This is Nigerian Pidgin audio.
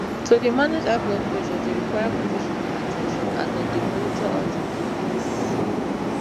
to dey manage high blood pressure dey require professional at ten tion as dem dey monitor am for clinics